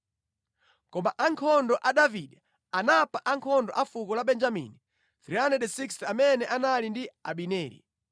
Koma ankhondo a Davide anapha ankhondo a fuko la Benjamini 360 amene anali ndi Abineri.